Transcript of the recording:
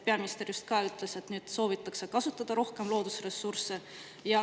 Peaminister just ütles, et nüüd soovitakse kasutada rohkem loodusressursse.